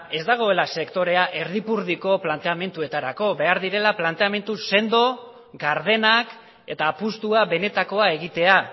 ez dagoela sektorea erdipurdiko planteamenduetarako behar direla planteamendu sendo gardenak eta apustua benetakoa egitea